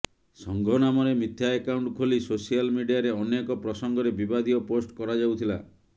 ସଂଘ ନାମରେ ମିଥ୍ୟା ଆକାଉଣ୍ଟ ଖୋଲି ସୋସିଆଲ ମିଡିଆରେ ଅନେକ ପ୍ରସଙ୍ଗରେ ବିବାଦୀୟ ପୋଷ୍ଟ କରାଯାଉଥିଲା